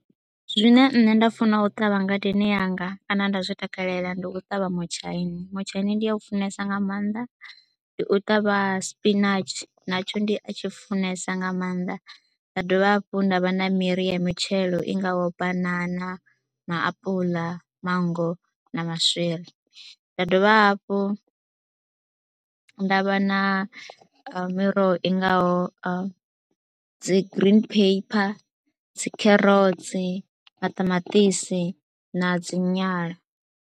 Zwine nṋe nda funa u ṱavha ngadeni yanga kana nda zwi takalela ndi u ṱavha mutshaini, mutshaini ndi a u funesa nga maanḓa. Ndi u ṱavha spinatshi natsho ndi a tshi funesa nga maanḓa, nda dovha hafhu nda vha na miri ya mitshelo i ngaho banana, maapula, mango na maswiri. Nda dovha hafhu nda vha vha na miroho i ngaho sa dzi green pepper, dzi kherotsi, maṱamaṱisi na dzi nyala.